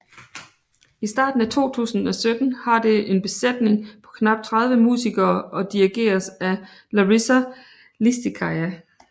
I starten af 2017 har det en besætning på knap 30 musikere og dirigeres af Larisa Lisitskaya